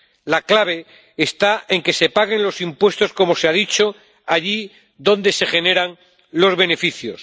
La clave está en que se paguen los impuestos, como se ha dicho, allí donde se generan los beneficios.